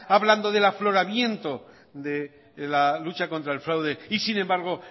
hablando del afloramiento de la lucha contra el fraude y sin embargo